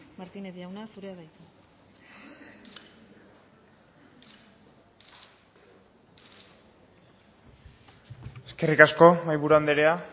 martínez jauna zurea da hitza eskerrik asko mahaiburu andrea